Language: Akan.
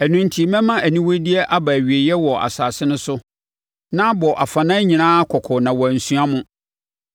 “Ɛno enti mɛma aniwudeyɛ aba awieeɛ wɔ asase no so na abɔ afanan nyinaa kɔkɔ na wɔansua mo.